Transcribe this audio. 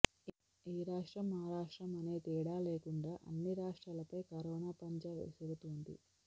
ఈ రాష్ట్రం ఆ రాష్ట్రం అనే తేడా లేకుండా అన్ని రాష్ట్రాలపై కరోనా పంజా విసురుతోంది